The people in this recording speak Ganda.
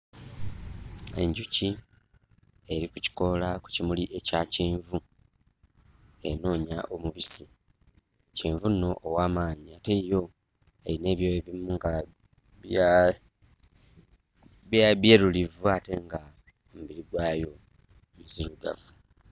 Enjuki eri ku kikoola ku kimuli ekya kyenvu enoonya omubisi. Kyenvu nno ow'amaanyi ate yo erina ebyoya ebimu nga bya byerulivu ate ng'omubiri gwayo nzirugavu.